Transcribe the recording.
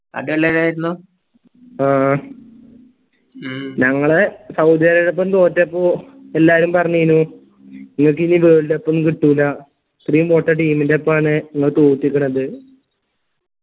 അതല്ലാതെതരുന്നു ആഹ് എ ഉം ഞങ്ങള് സൗദി അറേബ്യയെടൊപ്പം തോറ്റപ്പം എല്ലാരും പർനീനു നിങ്ങൾക്കു ഇനി world cup ഉം കിട്ടൂല ഇത്രയും പൊട്ട team ൻറെപ്പാണ് നിങ്ങള് തോറ്റിക്കണത്